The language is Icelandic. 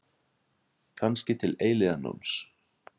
Kannski til eilífðarnóns.